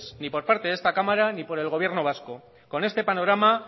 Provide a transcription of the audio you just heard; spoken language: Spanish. ni por parte de esta cámara ni por el gobierno vasco con este panorama